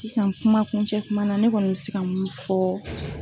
Tisan kuma kuncɛ tuma na ne kɔni bɛ se ka mun fɔ.